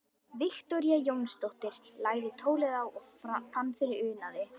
Viktoría Jónsdóttir lagði tólið á og fann fyrir unaði.